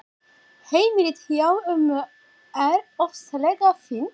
Heimilið hjá ömmu er ofsalega fínt.